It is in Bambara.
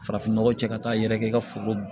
Farafin nɔgɔ cɛ ka taa yɛrɛkɛ i ka foro